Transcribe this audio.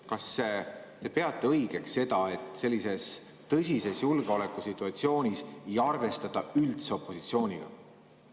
Kas te peate õigeks seda, et sellises tõsises julgeolekusituatsioonis opositsiooniga üldse ei arvestata?